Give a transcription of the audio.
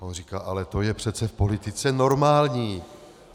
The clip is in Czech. A on říká: ale to je přece v politice normální.